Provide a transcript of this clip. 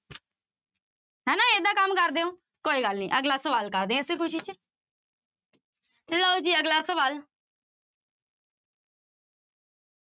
ਹਨਾ ਏਦਾਂ ਕੰਮ ਕਰਦੇ ਹੋ, ਕੋਈ ਗੱਲ ਨੀ ਅਗਲਾ ਸਵਾਲ ਕਰਦੇ ਹਾਂ ਇਸੇ ਖ਼ੁਸ਼ੀ ਚ ਲਓ ਜੀ ਅਗਲਾ ਸਵਾਲ।